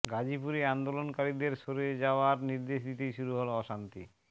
গাজিপুরে আন্দোলনকারীদের সরে যাওয়ার নির্দেশ দিতেই শুরু হল অশান্তি